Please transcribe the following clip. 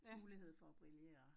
Mulighed for at brillere